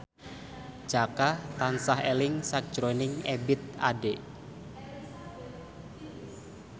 Jaka tansah eling sakjroning Ebith Ade